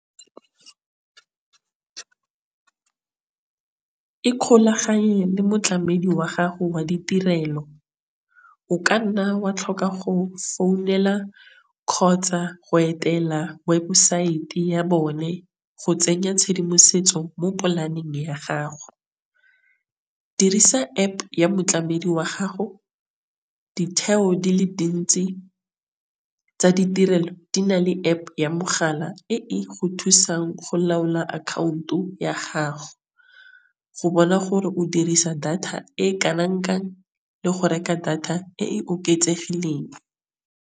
Ikgolaganye le motlamedi wa gago wa ditirelo. O kanna wa tlhoka go founela kgotsa go etela websaete ya bone go tsenya tšhedimosetso mo polaneng ya gago dirisa App ya motlamedi wa gago ditheo di le dintsi tsa ditirelo di na le App ya mogala. E go thusang go laola account o ya gago. Go bona gore o dirisa data e le go reka data e e oketsegileng.